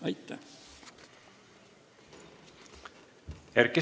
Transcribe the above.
Aitäh!